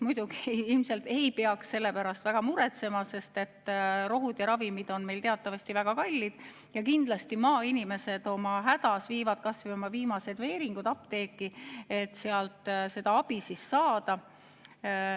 Muidugi ei peaks selle pärast väga muretsema, sest ravimid on meil teatavasti väga kallid ja kindlasti maainimesed häda korral viivad kas või oma viimased veeringud apteeki, et sealt abi saada.